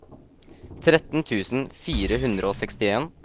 tretten tusen fire hundre og sekstien